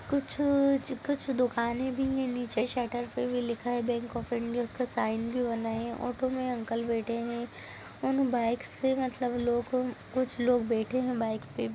कुछ-कुछ दुकाने भी है नीचे शटर पे भी लिखा है बैंक ऑफ इंडिया उसका साइन भी बना है ऑटो मे अंकल बैठे हुए है उन बाइक से मतलब लोगों कुछ लोग बैठे है बाइक पे--